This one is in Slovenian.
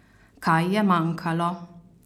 Kaj je manjkalo?